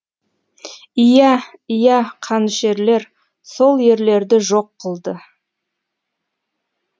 иә иә қанішерлер сол ерлерді жоқ қылды